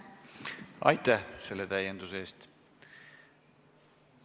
Aitäh selle täienduse eest!